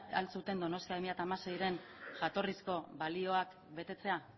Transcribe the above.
al zuten donostia bi mila hamaseiren jatorrizko balioak betetzea